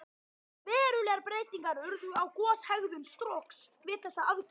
Verulegar breytingar urðu á goshegðun Strokks við þessa aðgerð.